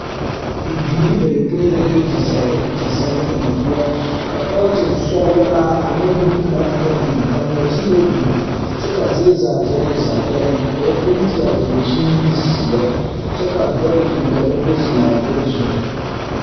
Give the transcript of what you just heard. Bibiiri bayɔpõĩ la be di-zag di-zage kaŋa poɔ ka pɔlɔtene sɔgelaaane bompelaa kaŋa biŋ ka nɔɔteerɛɛ biŋ kyɛ kaa zie zaa dɛge o zaa kpɛlɛŋ ka ba penti a dankyini zeɛ, kyɛ ka dɛre biŋ ka ba zeŋ a dɛre zu.